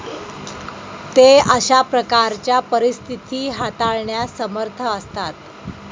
ते अशा प्रकारच्या परिस्थिती हाताळण्यास समर्थ असतात.